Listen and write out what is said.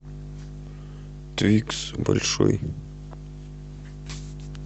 твикс большой